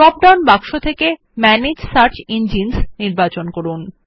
drop down box এ manage search engines নির্বাচন করুন